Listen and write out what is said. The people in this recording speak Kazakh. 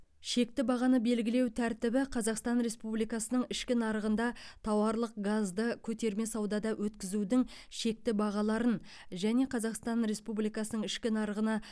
шекті бағаны белгілеу тәртібі қазақстан республикасының ішкі нарығында тауарлық газды көтерме саудада өткізудің шекті бағаларын және қазақстан республикасының ішкі нарығына